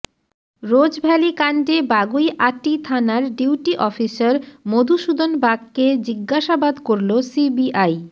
Rose Valley কাণ্ডে বাগুইআটি থানার duty officer Madhusudan বাগকে জিজ্ঞাসাবাদ করল সিবিআই